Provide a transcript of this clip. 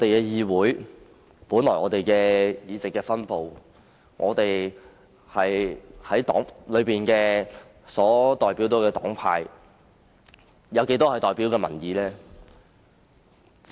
議會內議席的分布代表着不同的黨派，而其中一部分是代表民意的。